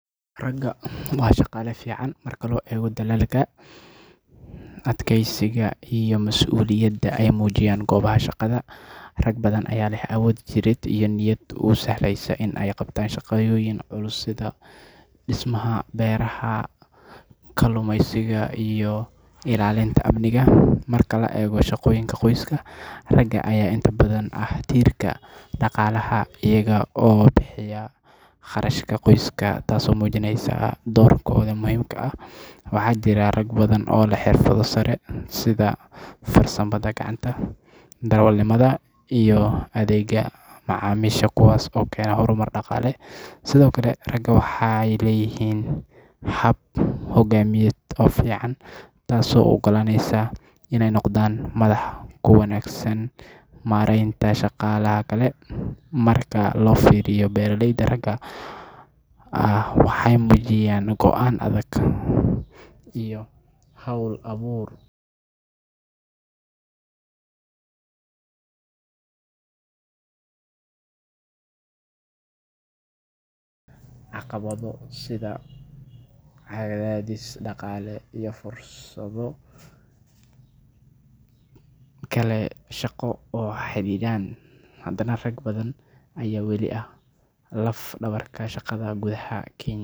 Raga waa shaqale fican marka loego dalalka adkesiga iyo masuliyada eymujiyan gobaha shaqadha raga badhan aya leeh awood jirid iyo niyad lodiso iney qabtan shaqa yoyin culus sidha dismaha Beraha kalumeysiga iyo ilalinta amniga markale ayago shaqo yinka qoyska raga aya inta badhan aah tirka daqalaha ayaga oo bixiya qarashka qoiska taso majineyso dorkodha muhimka maxa jira rabg badhan oo leh xirfadho sare leh sidha sanbadha gacanta darewal iyo adheg yadha macamisha kuwas okena horrmar daqale sidhokale raga waxey leyihin hab hogamiyed oo fican tqso uu ogalanesa iney noqdhan madhax kuwa wanagsan marenta shaqalaha kale marka lofiriyo beraleydha raga maxey mujiyan goan adhag iyo haul abur caqabadho cadhadhis leh iyo fursadho kale shaqo oo laxariran hadana rag badhan aya wali aah laf dabarta shaqadha gudhaha